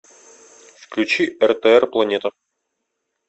включи ртр планета